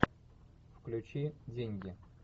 включи деньги